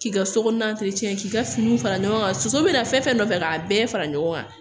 K'i ka sokɔnɔ k'i ka finiw fara ɲɔgɔn kan soso bɛ na fɛn fɛn nɔfɛ k'a bɛɛ fara ɲɔgɔn kan